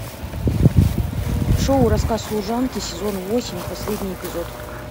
шоу рассказ служанки сезон восемь последний эпизод